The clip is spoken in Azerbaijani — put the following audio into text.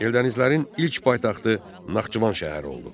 Eldənizlərin ilk paytaxtı Naxçıvan şəhəri oldu.